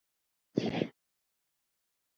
Á minn sann.!